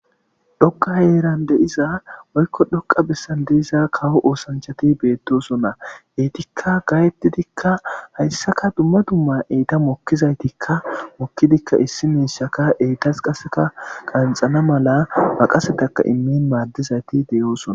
Dhokqa yeeran deyiza woykko dhoqa bessan deiza kawo oosanchati beettosonna eytikka gaayettidikka hayssaka dumma dumma eyta mokkizaytikka mokkidikka issi miishaka eytas qaseka qanxana mala baqasetaka immin maaddizayti deyoosona